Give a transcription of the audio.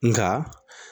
Nka